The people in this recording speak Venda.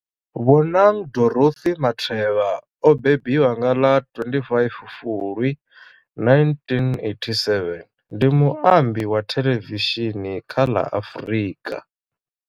Bonang Dorothy Matheba o mbembiwa nga ḽa 25 Fulwi 1987, ndi muambi wa thelevishini kha ḽa Afrika.